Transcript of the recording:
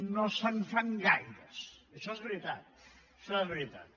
no se’n fan gaires això és veritat això és veritat